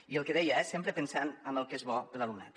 i el que deia eh sempre pensant en el que és bo per a l’alumnat